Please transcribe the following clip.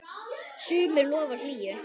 sumri lofar hlýju.